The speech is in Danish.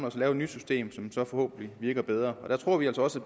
og så lave et nyt system som så forhåbentlig virker bedre og der tror vi altså også